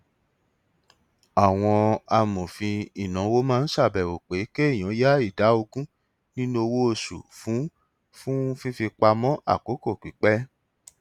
àwọn amòfin ìnáwó máa ń ṣàbẹwò pé kéèyàn ya ìdá ogun nínú owó oṣù fún fún fífipamọ àkókò pípẹ